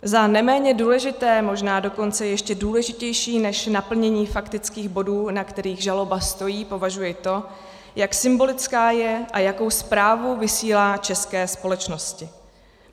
Za neméně důležité, možná dokonce ještě důležitější než naplnění faktických bodů, na kterých žaloba stojí, považuji to, jak symbolická je a jakou zprávu vysílá české společnosti.